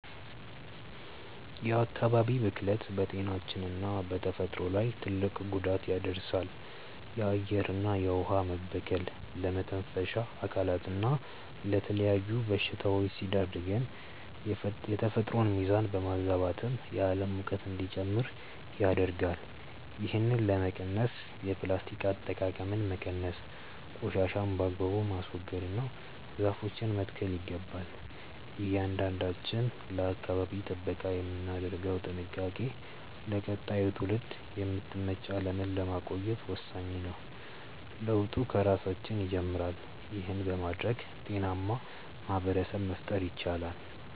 የአካባቢ ብክለት በጤናችንና በተፈጥሮ ላይ ትልቅ ጉዳት ያደርሳል። የአየርና የውኃ መበከል ለመተንፈሻ አካላትና ለተለያዩ በሽታዎች ሲዳርገን፣ የተፈጥሮን ሚዛን በማዛባትም የዓለም ሙቀት እንዲጨምር ያደርጋል። ይህንን ለመቀነስ የፕላስቲክ አጠቃቀምን መቀነስ፣ ቆሻሻን በአግባቡ ማስወገድና ዛፎችን መትከል ይገባል። እያንዳንዳችን ለአካባቢ ጥበቃ የምናደርገው ጥንቃቄ ለቀጣዩ ትውልድ የምትመች ዓለምን ለማቆየት ወሳኝ ነው። ለውጡ ከራሳችን ይጀምራል። ይህን በማድረግ ጤናማ ማኅበረሰብ መፍጠር ይቻላል።